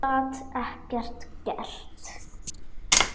Og gat ekkert gert.